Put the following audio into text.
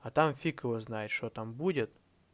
а там фиг его знает что там будет